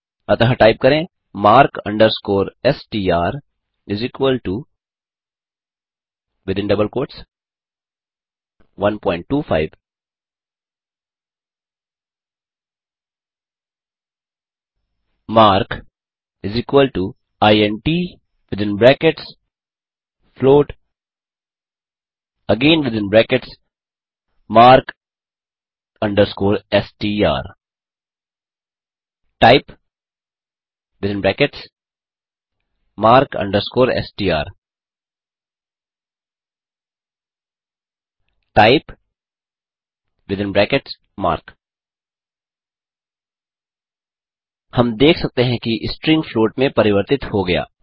अतः टाइप करें mark str 125 mark intfloatmark S T R typemark S T R type हम देख सकते हैं कि स्ट्रिंग फ्लॉट में प्रवर्तित हो गया